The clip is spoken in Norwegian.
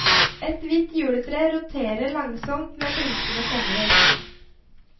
Et hvitt juletre roterer langsomt med blinkende kongler.